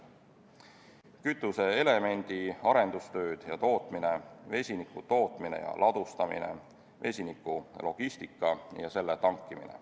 kütuseelemendi arendustööd ja tootmine, vesiniku tootmine ja ladustamine, vesiniku logistika ja selle tankimine.